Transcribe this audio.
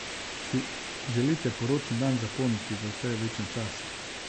Si želite poročni dan zapomniti za vse večne čase?